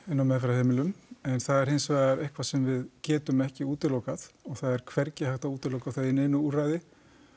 inni á meðferðarheimilum en það er hins vegar eitthvað sem við getum ekki útilokað og það er hvergi hægt að útiloka það í neinu úrræði